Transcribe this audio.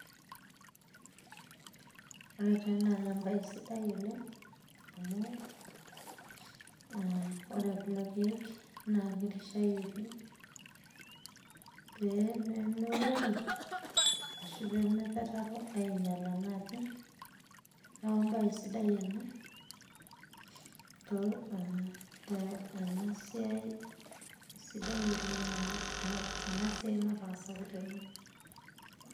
Ore taa ena na ebae sidai oleng',amu ah ore kulo keek na kirishayieki pemeurori, ashu pemepetaro ainyala naaji, neeku ebae sidai ena, to ah tenasiai, sidai oleng' ena enasiai nataasaki tene.